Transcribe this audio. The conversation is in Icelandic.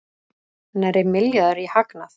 Nærri milljarður í hagnað